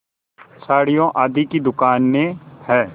साड़ियों आदि की दुकानें हैं